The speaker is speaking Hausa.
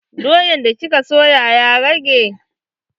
Doyan da kika soya ya rage?